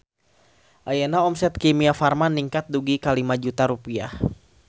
Ayeuna omset Kimia Farma ningkat dugi ka 5 juta rupiah